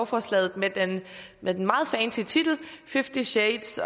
forslaget med den med den meget fancy titel fifty shades